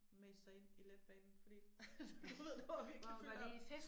Mase sig ind i Letbanen fordi du ved der var virkelig fyldt op